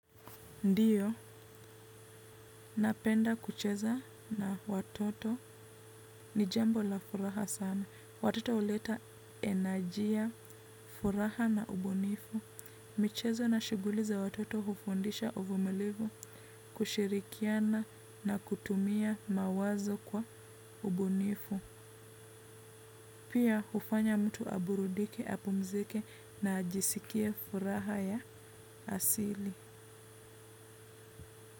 Ndiyo, napenda kucheza na watoto ni jambo la furaha sana. Watoto huleta energy ya furaha na ubunifu michezo na shughuli za watoto hufundisha uvumilivu, kushirikiana na kutumia mawazo kwa ubunifu. Pia hufanya mtu aburudike, apumzike na ajisikie furaha ya asili.